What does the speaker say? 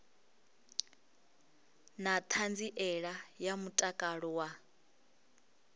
na ṱhanziela ya mutakalo wa